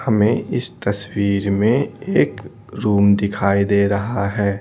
हमें इस तस्वीर में एक रूम दिखाई दे रहा है।